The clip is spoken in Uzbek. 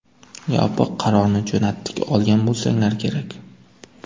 Yopiq qarorni jo‘natdik, olgan bo‘lsanglar kerak.